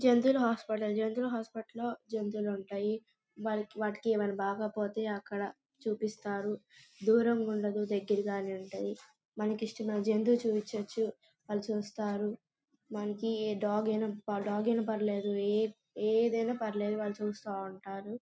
జంతువుల హాస్పిటల్ . జంతువుల హాస్పిటల్ లో జంతువులుంటాయి. వాట్ వాటికీ ఏమైనా బాగోపోతే అక్కడ చూపిస్తారు. దూరంగా ఉండదు. దగ్గరగానే ఉంటది. మనకి ఇష్టమైన జంతువు చూపించొచ్చు. వాళ్ళు చూస్తారు మనకి ఏ డాగ్ గైనా ప డాగ్ అయినా పర్లేదు. ఏ ఏదైనా పర్లేదు వాళ్ళు చూస్తా ఉంటారు.